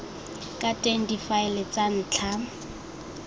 ka teng difaele tsa ntlha